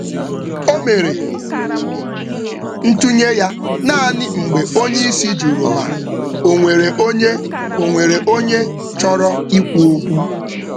Ọ nyere echiche ya naanị mgbe oga rịọrọ maka echiche ndị ọzọ.